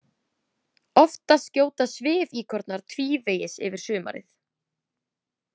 Oftast gjóta svifíkornar tvívegis yfir sumarið.